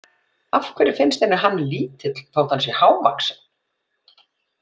Af hverju finnst henni hann lítill þótt hann sé hávaxinn?